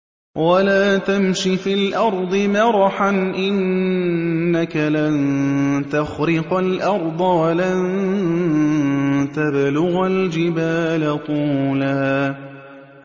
وَلَا تَمْشِ فِي الْأَرْضِ مَرَحًا ۖ إِنَّكَ لَن تَخْرِقَ الْأَرْضَ وَلَن تَبْلُغَ الْجِبَالَ طُولًا